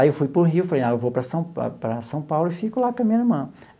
Aí eu fui para o Rio, falei, ah, eu vou para São para para São Paulo e fico lá com a minha irmã.